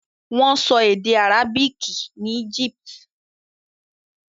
Wọ́n sọ èdè àrábìkì ní Egypt.